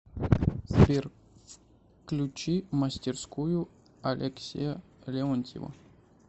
сбер включи мастерскую алексея леонтьева